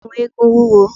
Ẹ̀kú eégún wúwo.